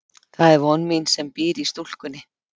Það er von mín sem býr í stúlkunni.